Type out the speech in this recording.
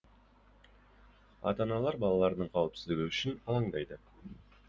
ата аналар балаларының қауіпсіздігі үшін алаңдайды